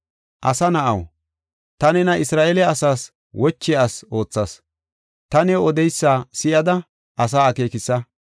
“Asa na7aw, ta nena Isra7eele asaas wochiya asi oothas; ta new odeysa si7ada asaa akeekisa.